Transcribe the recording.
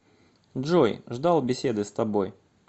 джой ждал беседы с тобой